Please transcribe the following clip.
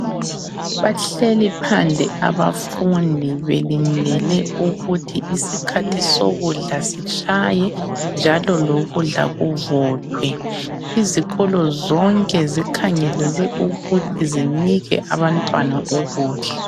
Bahleli phandle abafundi belindele ukuthi isikhathi sokudla sitshaye njalo lokudla kuvuthwe. Izikolo zonke zikhangelelwe ukuthi zinike abantwana ukudla.